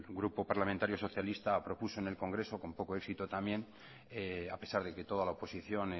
grupo parlamentario socialista propuso en el congreso con poco éxito también a pesar de que toda la oposición